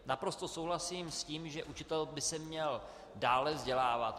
Naprosto souhlasím s tím, že učitel by se měl dále vzdělávat.